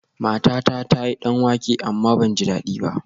Matata ta yi danwake amma ban ji dadi ba